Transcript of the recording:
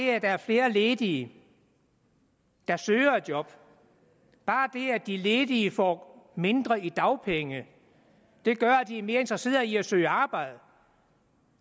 er flere ledige der søger et job bare det at de ledige får mindre i dagpenge vil gøre at de er mere interesseret i at søge arbejde